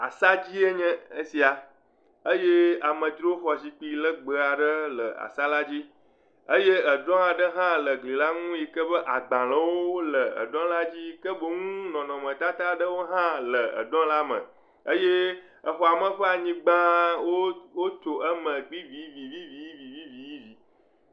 Asa dzie nye esia eye amedzroxɔ zikpui legbe aɖe le esa la dzi. Eye edrɔ aɖe hã le egli la nu yi ke be agbalewo le edrɔ la dzi. Ke boŋ nɔnɔmetata aɖewo hã le edrɔ la me eye exɔame ƒe anyigba wo wotso eme vivivivivivivivi